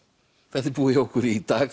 þetta er búið hjá okkur í dag